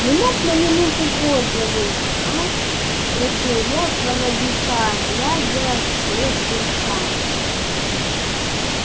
не мог на минуту позже выйти а спросил я проводника глядя вслед александре